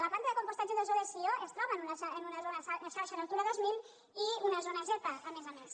la planta de compostatge d’ossó de sió es troba en una zona de xarxa natura dos mil i una zona zepa a més a més